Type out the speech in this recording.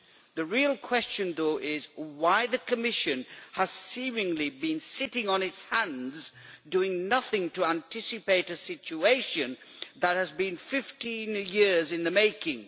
The real question though is why has the Commission seemingly been sitting on its hands, doing nothing to anticipate a situation that has been 15 years in the making?